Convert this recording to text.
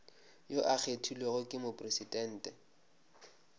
yo a kgethilwego ke mopresidente